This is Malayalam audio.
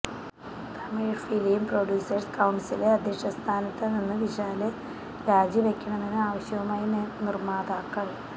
തമിഴ് ഫിലിം പ്രാഡ്യൂസേഴ്സ് കൌണ്സില് അദ്ധ്യക്ഷ സ്ഥാനത്ത് നിന്ന് വിശാല് രാജിവയ്ക്കണമെന്ന് ആവശ്യവുമായി നിർമ്മാതാക്കൾ